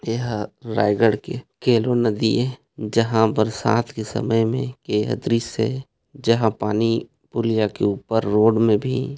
एह रायगढ़ की केलो नदी ए जहाँ बरसात के समय मे यह दृश्य जहां पानी पुलिया के ऊपर रोड मे भी--